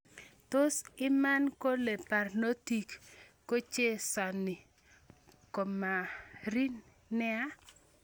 Tos iman kole barnotik kochehcesani Kamari nea?